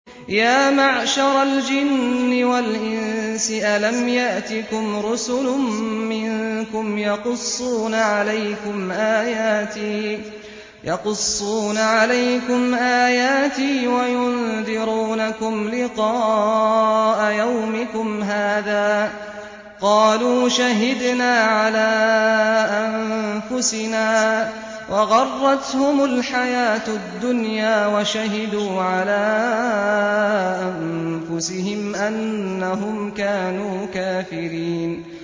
يَا مَعْشَرَ الْجِنِّ وَالْإِنسِ أَلَمْ يَأْتِكُمْ رُسُلٌ مِّنكُمْ يَقُصُّونَ عَلَيْكُمْ آيَاتِي وَيُنذِرُونَكُمْ لِقَاءَ يَوْمِكُمْ هَٰذَا ۚ قَالُوا شَهِدْنَا عَلَىٰ أَنفُسِنَا ۖ وَغَرَّتْهُمُ الْحَيَاةُ الدُّنْيَا وَشَهِدُوا عَلَىٰ أَنفُسِهِمْ أَنَّهُمْ كَانُوا كَافِرِينَ